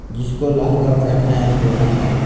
जिसको लहंगा पहनाया गया है।